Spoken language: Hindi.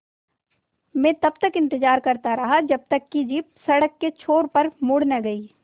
मैं तब तक इंतज़ार करता रहा जब तक कि जीप सड़क के छोर पर मुड़ न गई